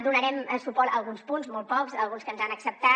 donarem suport a alguns punts molt pocs alguns que ens han acceptat